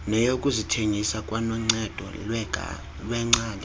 neyokuzithengisa kwanoncedo lweengcali